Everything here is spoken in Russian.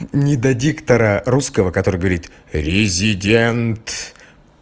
не до диктора русского который говорит резидент